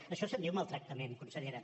d’això se’n diu maltractament consellera